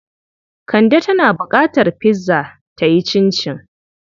Kande tana buƙatar pizza ta yi cincin.